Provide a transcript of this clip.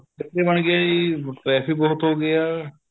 ਫ਼ੈਕਟਰੀਆਂ ਬਣ ਗਈਆਂ ਜ਼ੀ traffic ਬਹੁਤ ਹੋ ਗਿਆ